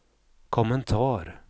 kommentar